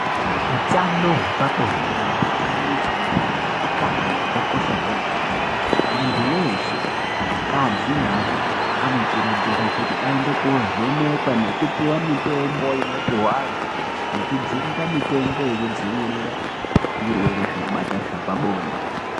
Utano hwepabonde neutano hwekubara utano hwakakosha kwemene muntu weshe akadzi nearume anokurudzirwa kuti aende kovhenekwen nekupiwa mitombo inopihwa antu nekujungwa mitombo yekudzivirira zvirwere zvinobata zvepabonde.